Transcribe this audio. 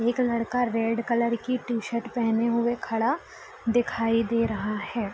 एक लड़का red colour की टी-शर्ट पहने हुए खड़ा दिखाई दे रहा है |